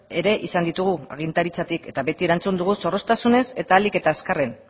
ere izan ditugu agintaritzatik eta beti erantzun dugu zorroztasunez eta ahalik eta azkarren